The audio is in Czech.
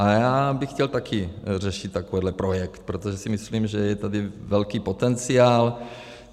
A já bych chtěl také řešit takovýto projekt, protože si myslím, že je tady velký potenciál.